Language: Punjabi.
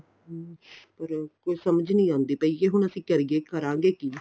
ਹਮ ਪਰ ਕੋਈ ਸਮਝ ਨੀਂ ਆਉਂਦੀ ਕੀ ਅਸੀਂ ਹੁਣ ਕਰੀਏ ਕਰਾਂਗੇ ਕੀ